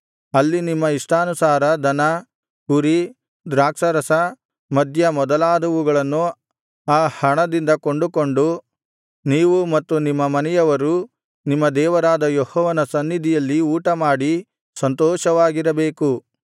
ಅಲ್ಲಿ ನಿಮ್ಮ ಇಷ್ಟಾನುಸಾರ ದನ ಕುರಿ ದ್ರಾಕ್ಷಾರಸ ಮದ್ಯ ಮೊದಲಾದವುಗಳನ್ನು ಆ ಹಣದಿಂದ ಕೊಂಡುಕೊಂಡು ನೀವೂ ಮತ್ತು ನಿಮ್ಮ ಮನೆಯವರೂ ನಿಮ್ಮ ದೇವರಾದ ಯೆಹೋವನ ಸನ್ನಿಧಿಯಲ್ಲಿ ಊಟಮಾಡಿ ಸಂತೋಷವಾಗಿರಬೇಕು